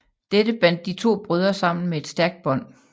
Dette bandt de to brødre sammen med et stærkt bånd